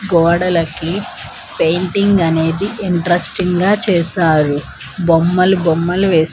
గోడలకి పెయింటింగ్ అనేది ఇంట్రెస్టింగ్గా చేశారు బొమ్మలు బొమ్మలు వేస్--